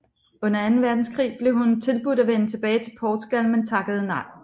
Under Anden Verdenskrig blev hun tilbudt at vende tilbage til Portugal men takkede nej